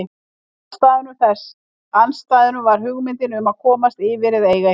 Ein af andstæðunum var hugmyndin um að komast yfir eða eiga eitthvað.